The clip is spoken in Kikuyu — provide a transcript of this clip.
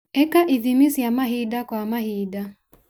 ĩka ithimi cia mahinda kwa mahinda.